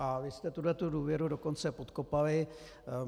A vy jste tuhle důvěru dokonce podkopali.